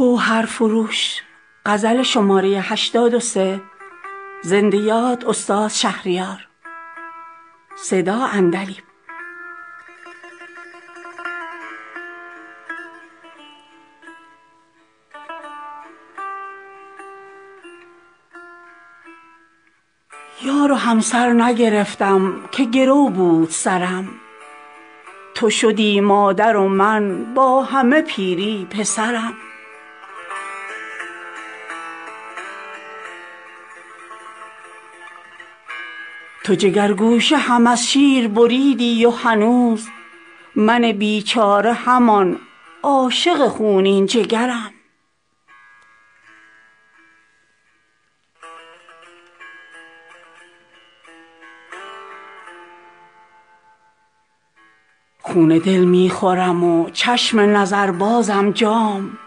یار و همسر نگرفتم که گرو بود سرم تو شدی مادر و من با همه پیری پسرم تو جگرگوشه هم از شیر بریدی و هنوز من بیچاره همان عاشق خونین جگرم خون دل می خورم و چشم نظر بازم جام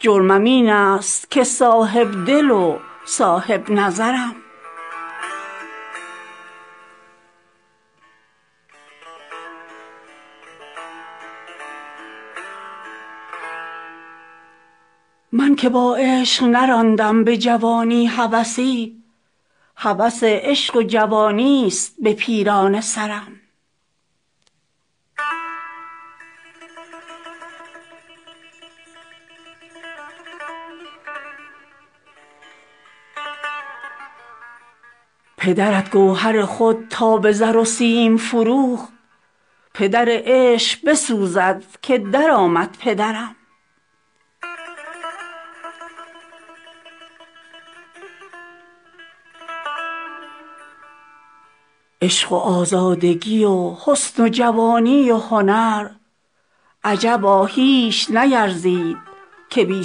جرمم این است که صاحب دل و صاحب نظرم من که با عشق نراندم به جوانی هوسی هوس عشق و جوانیست به پیرانه سرم پدرت گوهر خود را به زر و سیم فروخت پدر عشق بسوزد که در آمد پدرم عشق و آزادگی و حسن و جوانی و هنر عجبا هیچ نیرزید که بی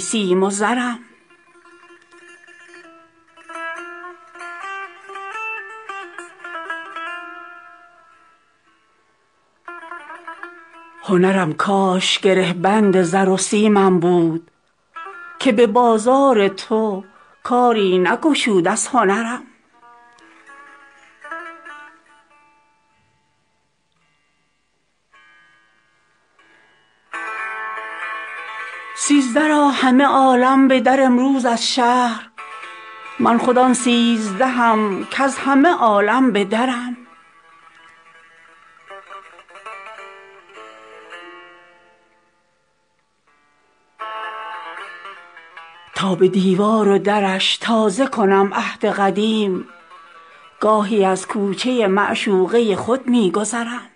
سیم و زرم هنرم کاش گره بند زر و سیمم بود که به بازار تو کاری نگشود از هنرم سیزده را همه عالم به در آیند از شهر من خود آن سیزدهم کز همه عالم به درم تا به دیوار و درش تازه کنم عهد قدیم گاهی از کوچه معشوقه خود می گذرم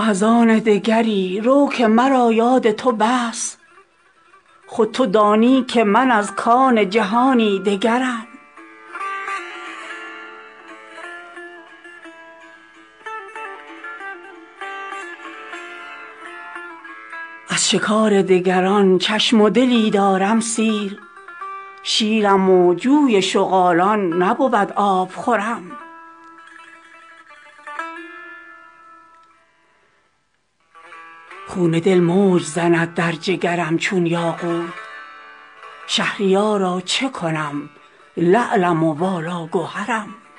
تو از آن دگری رو که مرا یاد تو بس خود تو دانی که من از کان جهانی دگرم از شکار دگران چشم و دلی دارم سیر شیرم و جوی شغالان نبود آبخورم خون دل موج زند در جگرم چون یاقوت شهریارا چه کنم لعلم و والا گهرم